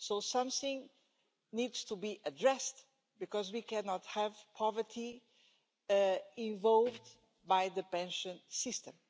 Something needs to be addressed because we cannot have poverty involved in the pension system.